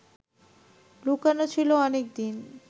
লুকোনো ছিল অনেকদিন